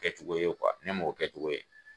Kɛcogo ye , ne m'o kɛcogo ye.